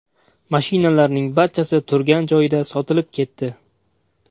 Mashinalarning barchasi turgan joyida sotilib ketdi.